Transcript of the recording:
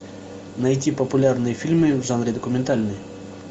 найти популярные фильмы в жанре документальный